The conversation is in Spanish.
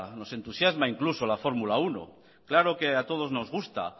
nos entusiasma incluso la fórmula uno claro que a todos nos gusta